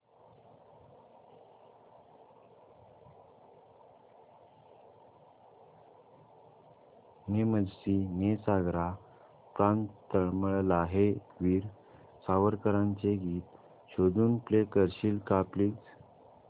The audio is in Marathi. ने मजसी ने सागरा प्राण तळमळला हे वीर सावरकरांचे गीत शोधून प्ले करशील का प्लीज